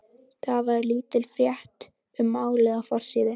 Þar var lítil frétt um málið á forsíðu.